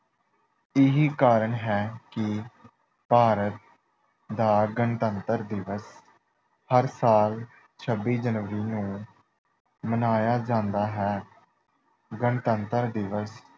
ਇਹੀ ਕਾਰਨ ਹੈ ਕਿ ਭਾਰਤ ਦਾ ਗਣਤੰਤਰ ਦਿਵਸ ਹਰ ਸਾਲ ਛੱਬੀ ਜਨਵਰੀ ਨੂੰ ਮਨਾਇਆ ਜਾਂਦਾ ਹੈ। ਗਣਤੰਤਰ ਦਿਵਸ